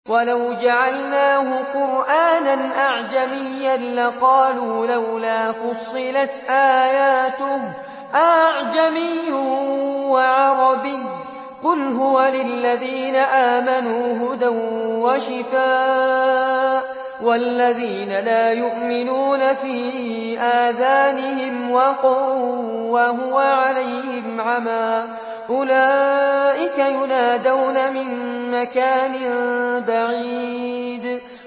وَلَوْ جَعَلْنَاهُ قُرْآنًا أَعْجَمِيًّا لَّقَالُوا لَوْلَا فُصِّلَتْ آيَاتُهُ ۖ أَأَعْجَمِيٌّ وَعَرَبِيٌّ ۗ قُلْ هُوَ لِلَّذِينَ آمَنُوا هُدًى وَشِفَاءٌ ۖ وَالَّذِينَ لَا يُؤْمِنُونَ فِي آذَانِهِمْ وَقْرٌ وَهُوَ عَلَيْهِمْ عَمًى ۚ أُولَٰئِكَ يُنَادَوْنَ مِن مَّكَانٍ بَعِيدٍ